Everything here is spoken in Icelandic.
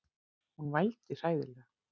Hún vældi hræðilega.